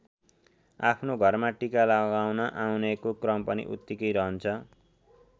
आफ्नो घरमा टीका लगाउन आउनेको क्रम पनि उत्तिकै रहन्छ।